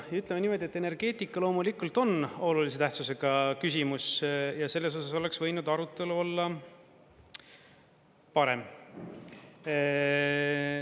Ja ütleme niimoodi, et energeetika loomulikult on olulise tähtsusega küsimus ja selles osas oleks võinud arutelu olla parem.